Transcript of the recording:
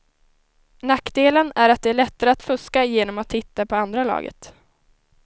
Nackdelen är att det är lättare att fuska genom att titta på andra laget.